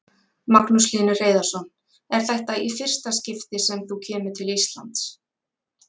Magnús Hlynur Hreiðarsson: Er þetta í fyrsta skipti sem þú kemur til Íslands?